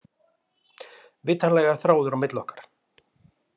Vitanlega er þráður á milli okkar.